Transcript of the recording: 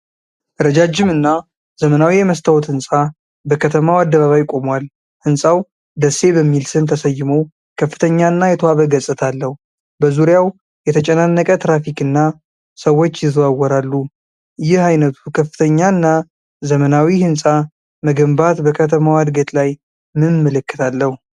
ረጃጅም እና ዘመናዊ የመስታወት ሕንፃ በከተማው አደባባይ ቆሟል። ሕንጻውደሴ በሚል ስም ተሰይሞ ከፍተኛ እና የተዋበ ገጽታ አለው። በዙሪያው የተጨናነቀ ትራፊክ እና ሰዎች ይዘዋወራሉ። ይህ ዓይነቱ ከፍተኛ እና ዘመናዊ ሕንፃ መገንባት በከተማዋ እድገት ላይ ምን ምልክት አለው?